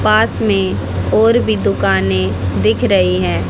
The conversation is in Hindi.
पास में और भी दुकाने दिख रही हैं।